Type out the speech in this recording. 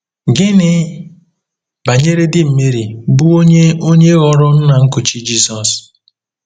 Gịnị banyere di Meri, bụ́ onye onye ghọrọ nna nkuchi Jisọs?